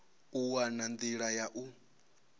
u wana nḓila ya u